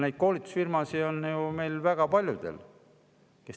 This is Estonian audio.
Neid koolitusfirmasid, kes teevad koolitusi, on väga paljudel.